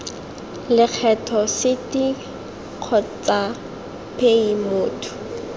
lekgetho site kgotsa paye motho